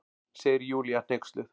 segir Júlía hneyksluð.